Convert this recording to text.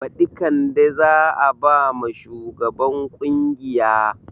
Baɗi kande za a bama shugan ƙungiya